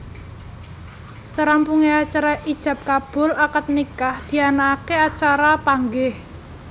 Sarampunge acara ijab kabul akad nikah dianakake acara Panggih